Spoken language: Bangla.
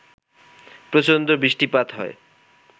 প্রচণ্ড বৃষ্টিপাত হয়